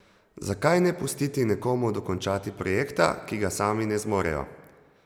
Zakaj ne pustiti nekomu dokončati projekta, ki ga sami ne zmorejo?